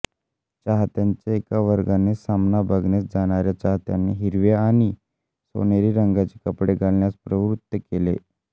चाहत्यांच्या एका वर्गाने सामना बघण्यास जाणाऱ्या चाहत्यांना हिरव्या आणि सोनेरि रंगांचे कपडे घालण्यास प्रव्रुत्त केले